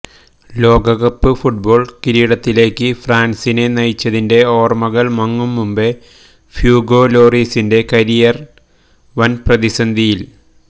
ലോകകപ്പ് ഫുട്ബോള് കിരീടത്തിലേക്ക് ഫ്രാന്സിനെ നയിച്ചതിന്റെ ഓര്മകള് മങ്ങും മുമ്പെ ഹ്യൂഗൊ ലോറീസിന്റെ കരിയര് വന് പ്രതിസന്ധിയില്